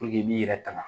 i b'i yɛrɛ ta